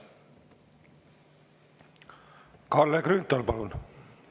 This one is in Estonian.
Kalle Grünthal, palun!